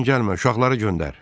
Özün gəlmə, uşaqları göndər.